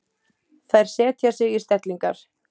Þær setja sig í stellingar.